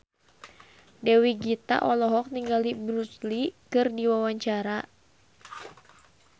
Dewi Gita olohok ningali Bruce Lee keur diwawancara